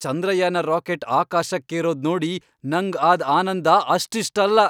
Chandrayaan rocket ಆಕಾಶಕ್ಕೇರೋದ್ ನೋಡಿ ನಂಗ್ ಆದ್ ಆನಂದ ಅಷ್ಟಿಷ್ಟಲ್ಲ.